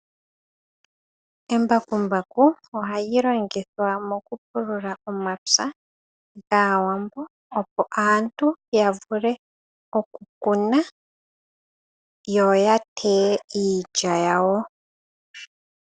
Embakumbaku ohali longithwa mokupulula omapya gAawambo opo aantu ya vule oku kuna yo ya teye iilya yawo.